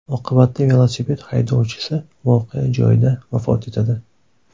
Oqibatda velosiped haydovchisi voqea joyida vafot etadi.